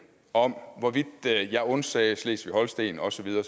om hvorvidt jeg undsagde slesvig holsten og så videre